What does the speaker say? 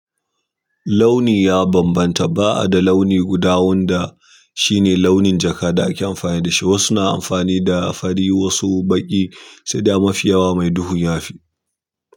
Launi ya bambanta. Ba'a da launi guda wanda shine launin jaka da ake amfani da shi ba. Wasu na amfani da fari, wasu baƙi, sai dai mafi yawa mai duhu ya fi.